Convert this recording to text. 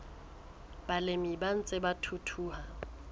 balemi ba ntseng ba thuthuha